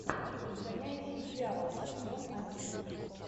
изгоняющий дьявола сезон один